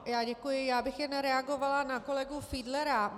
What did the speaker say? Já bych jen reagovala na kolegu Fiedlera.